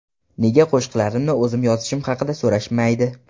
Nega qo‘shiqlarimni o‘zim yozishim haqida so‘rashmaydi?